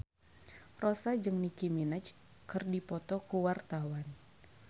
Rossa jeung Nicky Minaj keur dipoto ku wartawan